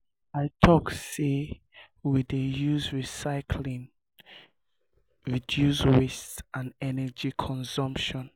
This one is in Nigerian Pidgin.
i tok sey we dey use recyclying use recyclying reduce waste and energy consumption.